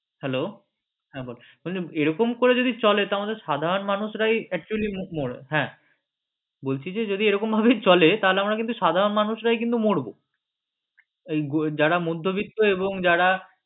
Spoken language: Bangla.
hello হ্যাঁ বল বলছি যদি এরকম করে যদি চলে তাহলে আমদের সাধারণ মানুষরাই হ্যাঁ বলছি যে যদি এরকম করে চলে তাহলে আমরা সাধারণ মানুষরাই কিন্তু মরব যারা মধ্যবিত্ত এবং যারা